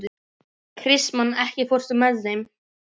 Kristmann, ekki fórstu með þeim?